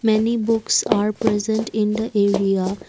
Many books are present in the area.